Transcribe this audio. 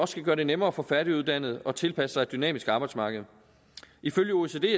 skal gøre det nemmere for færdiguddannede at tilpasse sig et dynamisk arbejdsmarked ifølge oecd er